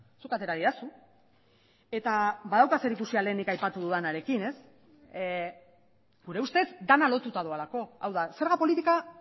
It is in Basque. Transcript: zuk atera didazu eta badauka zerikusia lehen aipatu dudanarekin gure ustez dena lotuta doalako hau da zerga politika